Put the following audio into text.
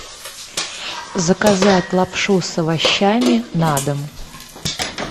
заказать лапшу с овощами на дом